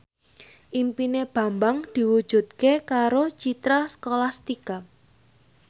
impine Bambang diwujudke karo Citra Scholastika